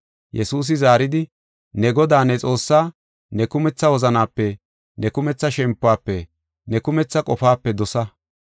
Yesuusi zaaridi, “ ‘Ne Godaa, ne Xoossaa, ne kumetha wozanape, ne kumetha shempuwafe, ne kumetha qofaape dosa.